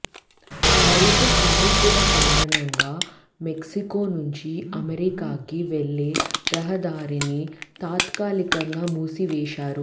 వరుస కాల్పుల కారణంగా మెక్సికో నుంచి అమెరికాకి వెళ్లే రహదారిని తాత్కాలికంగా మూసివేశారు